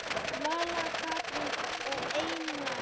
Vala, Katrín og Einar.